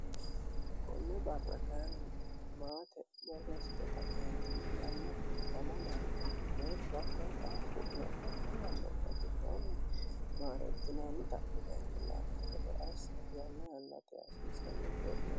go'ne barra kainni maate borresxeta eentimiliyanno miamo dhanne deetto akkooqhaa qu'lo0aammi yannobgitoonni maarertinaanni tapita intilaanne gede assa yanne yannate hasiisanni ceexe